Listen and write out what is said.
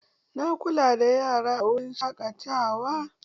Na kula da yara a wurin shaƙatawa.